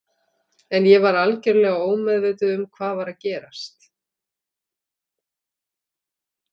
En ég var algjörlega ómeðvituð um hvað var að gerast.